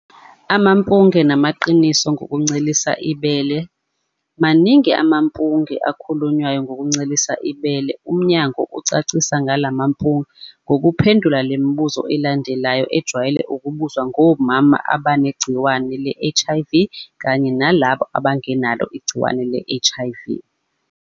Amampunge namaqiniso ngokuncelisa ibele. Maningi amampunge akhulunywayo ngokuncelisa ibele, umnyango ucacise ngalamampunge ngokuphendula le mibuzo elandelayo ejwayele ukubuzwa ngomama abanegciwane le-HIV kanye nalabo abangenalo igciwane le-HIV.